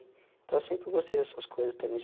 Então eu sempre gostei dessas coisas também.